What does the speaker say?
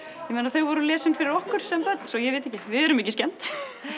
þau voru lesin fyrir okkur sem börn svo ég veit ekki við erum ekki skemmd en